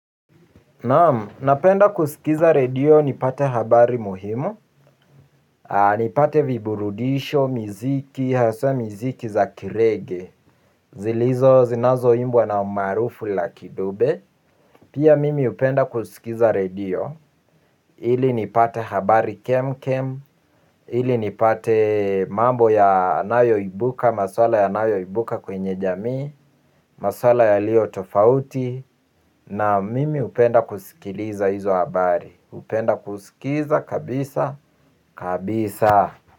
Napenda kusikiza redio nipate habari muhimu. Nipate viburudisho, miziki, haswa miziki za kireggae zilizo zinazoimbwa na umaarufu lucky dube. Pia mimi hupenda kusikiza redio. Ili nipate habari kemkem ili nipate mambo yanayoibuka, maswala yanayoibuka kwenye jamii. Maswala yalio tofauti. Naam, mimi hupenda kusikiza hizo habari. Hupenda kusikiza, kabiisa, kabiisa.